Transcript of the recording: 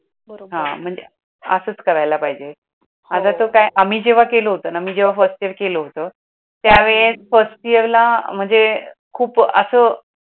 महणजे असंच करायला पाहेजे. आम्ही जेव्हाकेल होत ना, मी जेव्हा केल होत फर्स्ट एअर केल होत त्यावेळेस फर्स्ट इयरला म्हणजे अह खूप असं